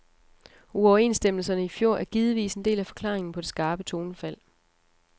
Uoverenstemmelserne i fjor er givetvis en del af forklaringen på det skarpe tonefald.